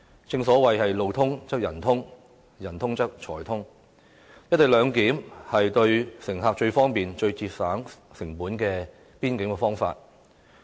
正所謂"路通則人通，人通則財通"，"一地兩檢"是最方便、最節省成本的邊檢方法。